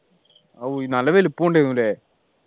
ഓ നല്ല വലുപ്പം ഉണ്ട് ഏനു ല്ലേ